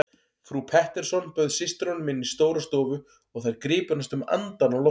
Frú Pettersson bauð systrunum inn í stóra stofu og þær gripu næstum andann á lofti.